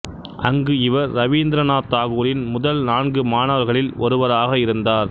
அங்கு இவர் இரவீந்திரநாத் தாகூரின் முதல் நான்கு மாணவர்களில் ஒருவராக இருந்தார்